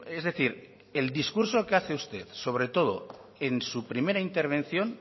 es decir el discurso que hace usted sobre todo en su primera intervención